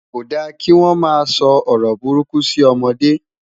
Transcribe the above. kò dá kí wọn má so ọrọ buruku si ọmọdé